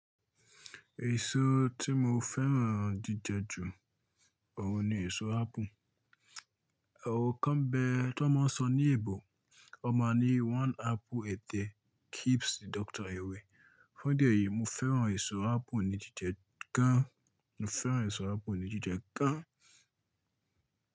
Èso tí mo fẹ́ràn jíjẹ jù ọ̀un ni èso ápù. Ọrọ kan bẹ tó máa sọ ní èbò, ó ma ní one apple a day keeps the doctor away. Fún idi èyí, mo fẹ́ràn èso ápù ní jíjẹ gan. Mo fẹ́ràn èso ápù ní jíjẹ gan.